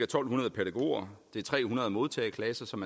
to hundrede pædagoger det er tre hundrede modtageklasser som